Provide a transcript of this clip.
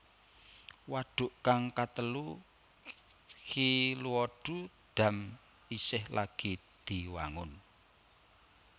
Wadhuk kang katelu Xiluodu Dam isih lagi diwangun